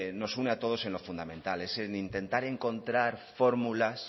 nos une a todos en lo fundamental es el intentar encontrar fórmulas